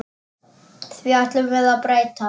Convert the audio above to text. Því ætlum við að breyta.